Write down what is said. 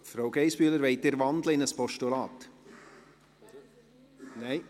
Frau Geissbühler, wollen Sie in ein Postulat wandeln?